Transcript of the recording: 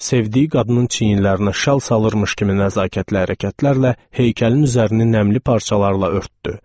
Sevdiyi qadının çiyinlərinə şal salırmış kimi nəzakətlə hərəkətlərlə heykəlin üzərini nəmli parçalarla örtdü.